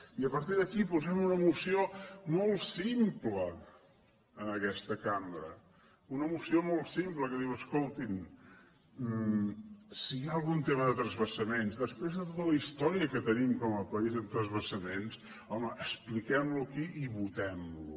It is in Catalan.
i partir d’aquí posem una moció molt simple en aquesta cambra una moció molt simple que diu escoltin si hi ha algun tema de transvasaments després de tota la història que tenim com a país en transvasaments home expliquem lo aquí i votem lo